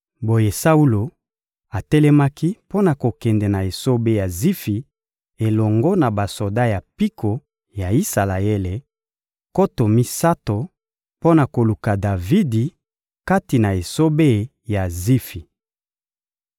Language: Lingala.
Boye Saulo atelemaki mpo na kokende na esobe ya Zifi elongo na basoda ya mpiko ya Isalaele, nkoto misato, mpo na koluka Davidi kati na esobe ya Zifi.